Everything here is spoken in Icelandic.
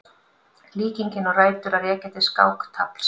Líkingin á rætur að rekja til skáktafls.